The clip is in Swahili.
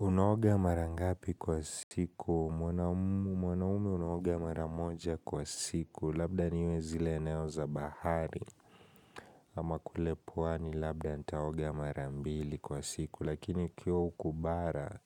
Unaoga mara ngapi kwa siku. Mwanaume unaoga mara moja kwa siku. Labda niwe zile eneo za bahari. Ama kule pwani labda nitaoga marambili kwa siku. Lakini ikiwa huku bara,